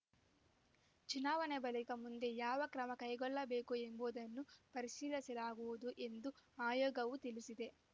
ಚುನಾವಣೆ ಬಳಿಕ ಮುಂದೆ ಯಾವ ಕ್ರಮ ಕೈಗೊಳ್ಳಬೇಕು ಎಂಬುದನ್ನು ಪರಿಶೀಲಿಸಲಾಗುವುದು ಎಂದು ಆಯೋಗವು ತಿಳಿಸಿದೆ